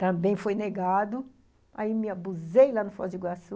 Também foi negado, aí me abusei lá no Foz do Iguaçu.